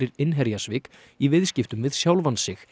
innherjasvik í viðskiptum við sjálfan sig